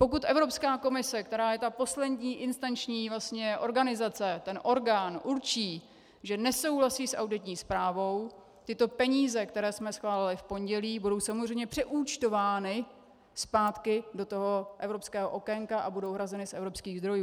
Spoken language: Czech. Pokud Evropská komise, která je ta poslední instanční organizace, ten orgán, určí, že nesouhlasí s auditní zprávou, tyto peníze, které jsme schválili v pondělí, budou samozřejmě přeúčtovány zpátky do toho evropského okénka a budou hrazeny z evropských zdrojů.